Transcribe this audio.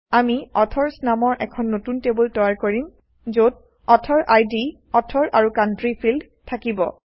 আমি অথৰচ্ নামৰ এখন নতুন টেবুল তৈয়াৰ কৰিম যত অথৰিড অথৰ আৰু কাউণ্ট্ৰি ফিল্ড থাকিব